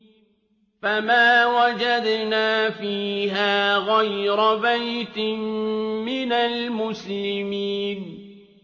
فَمَا وَجَدْنَا فِيهَا غَيْرَ بَيْتٍ مِّنَ الْمُسْلِمِينَ